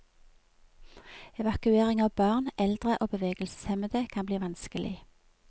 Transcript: Evakuering av barn, eldre og bevegelseshemmede kan bli vanskelig.